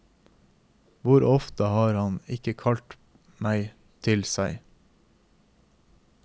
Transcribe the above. Hvor ofte har han ikke kalt meg til seg.